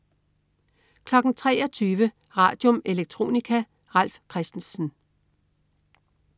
23.00 Radium. Electronica. Ralf Christensen